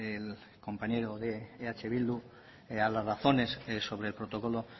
el compañero de eh bildu a las razones sobre el protocolo